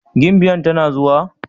Gimbiyan tana zuwa?